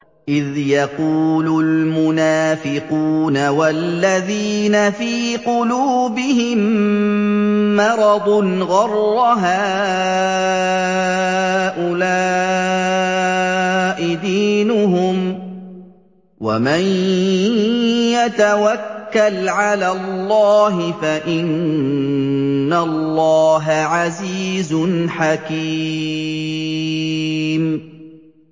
إِذْ يَقُولُ الْمُنَافِقُونَ وَالَّذِينَ فِي قُلُوبِهِم مَّرَضٌ غَرَّ هَٰؤُلَاءِ دِينُهُمْ ۗ وَمَن يَتَوَكَّلْ عَلَى اللَّهِ فَإِنَّ اللَّهَ عَزِيزٌ حَكِيمٌ